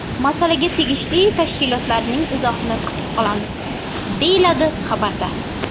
Masalaga tegishli tashkilotlarning izohini kutib qolamiz”, deyiladi xabarda.